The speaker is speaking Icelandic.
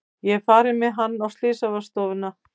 Ég er farin með hann á slysavarðstofuna.